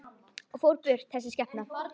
Og fór burt, þessi skepna.